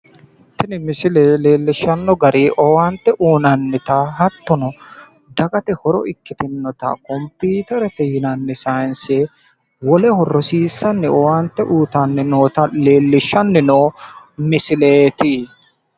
Tini misile leellishshanno gari owaante uyinannita hattono dagate horo ikkitannota computerete yinanni saayinse woleho rosiissanni owante uyitannota leellishshanno misileeti.